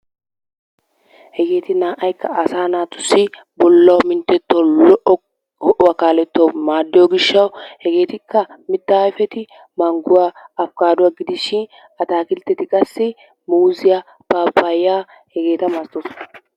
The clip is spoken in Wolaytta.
Hegeeti na"aykka asaa naatussi bollaa minttetuwaawunne ho"uwaa kalettuwaawu maaddiyoo giishawu hegetikka mittaa ayfeti mangguwaa afkaaduwaa gidishiin atakilitetti qaasi muuzziyaa paappayaa hegeeta malatoosona.